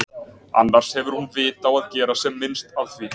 Annars hefur hún vit á að gera sem minnst af því.